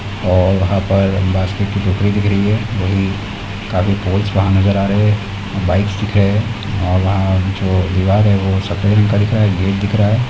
और वहाँ पर बास्केट की टोकरी दिख रही है वहीं काफी पोल्स वहाँ नजर आ रहे हैं और बाइक्स दिख रहे हैं और वहाँ जो दीवार है वो सफेद रंग का दिख रहा है गेट दिख रहा है।